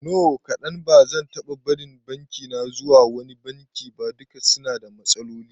No kadan, bazan taba barin bankina zuwa wani banki ba, duka suna da matsaloli